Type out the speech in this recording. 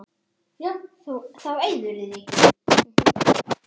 Yfir engu að kvarta.